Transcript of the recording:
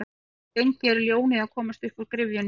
Hve lengi er ljónið að komast uppúr gryfjunni?